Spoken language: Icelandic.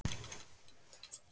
En oftast er það